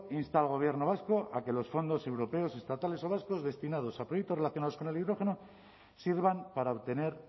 insta al gobierno vasco a que los fondos europeos estatales o vascos destinados a proyectos relacionados con el hidrógeno sirvan para obtener